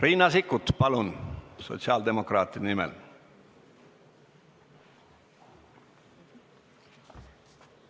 Riina Sikkut sotsiaaldemokraatide nimel, palun!